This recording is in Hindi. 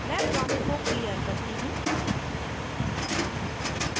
मैं prompt को साफ करती हूँ